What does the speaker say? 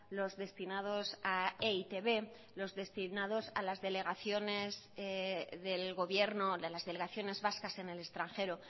los destinados a e i te be los destinados a las delegaciones del gobierno de las delegaciones vascas en el extranjero